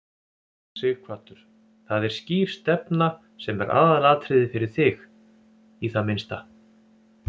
Sighvatur: Það er skýr stefna sem er aðalatriðið fyrir þig, í það minnsta?